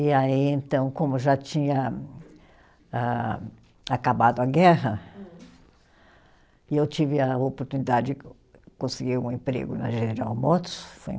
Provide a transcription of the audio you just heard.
E aí, então, como já tinha âh, acabado a guerra. Hum. E eu tive a oportunidade de conseguir um emprego na General Motors, foi em.